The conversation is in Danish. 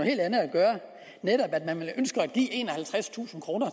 helt andet at gøre netop at man ønsker at give enoghalvtredstusind kroner